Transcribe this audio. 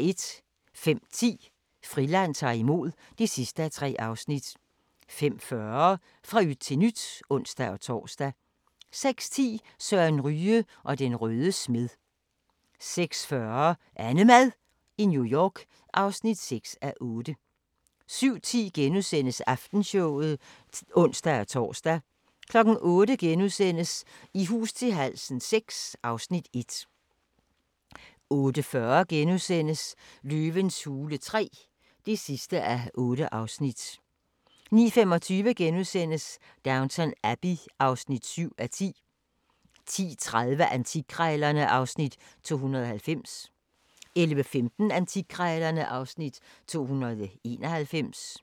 05:10: Friland ta'r imod (3:3) 05:40: Fra yt til nyt (ons-tor) 06:10: Søren Ryge og den røde smed 06:40: AnneMad i New York (6:8) 07:10: Aftenshowet *(ons-tor) 08:00: I hus til halsen VI (Afs. 1)* 08:40: Løvens hule III (8:8)* 09:25: Downton Abbey (7:10)* 10:30: Antikkrejlerne (Afs. 290) 11:15: Antikkrejlerne (Afs. 291)